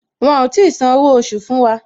Wọn ò tí san owó oṣù fún wa